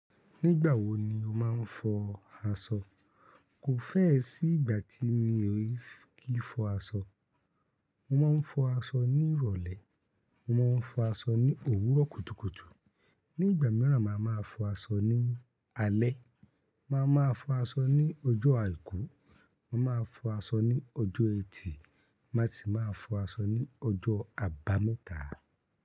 Nígbà wo ni o máa ń fọ aṣọ? Kò fẹ́ ẹ sí ìgbà tí mi ò kí fọ aṣọ. Mo máa ń fọ aṣọ ní ìrọ̀lẹ́, mo máa ń fọ aṣọ ní òwúrọ̀ kùtùkùtù. Ní ìgbà mìràn, màá máa fọ aṣọ ní alẹ́, màá máa fọ aṣọ ní ọjọ́ àìkú, màá máa fọ aṣọ ní ọjọ́ ẹtì, màá sì máa fọ aṣọ ní ọjọ́ àbámẹ́ta.